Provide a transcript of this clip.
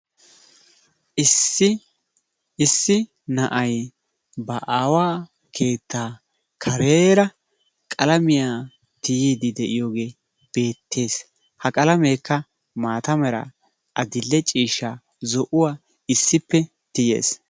Issi na"ayi ba aawaa keettaa kareera qlamiya tiyiiddi de"iyogee beettes. Ha qalameekka maata meraa adill"e ciishsha meraa zo"uwa issippe tiyes.